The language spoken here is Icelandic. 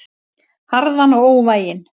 Harðan og óvæginn.